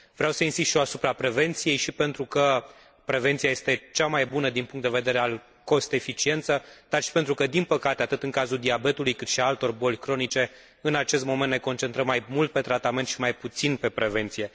Vreau să insist și eu asupra prevenției atât pentru că prevenția este cea mai bună din punctul de vedere al eficienței costurilor, cât și pentru că, din păcate, atât în cazul diabetului, cât și al altor boli cronice, în acest moment ne concentrăm mai mult pe tratament și mai puțin pe prevenție.